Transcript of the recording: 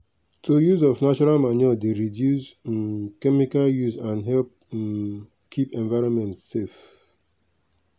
to use of natural manure dey reduce um chemical use and help um keep environment safe.